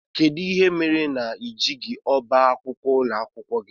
Kedụ ihe mere na i jeghi ọbá akwụkwọ ụlọakwụkwọ gị?